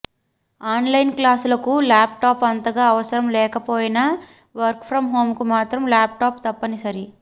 on line క్లాసులకు laptop అంతగా అవసరం లేకపోయినా వర్క్ ఫ్రం హోంకు మాత్రం ల్యాప్ టాప్ తప్పనిసరి